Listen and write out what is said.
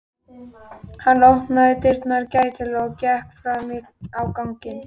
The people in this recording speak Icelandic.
Hann opnaði dyrnar gætilega og gekk fram á ganginn.